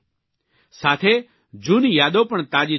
સાથે જૂની યાદો પણ તાજી થઇ ઉઠશે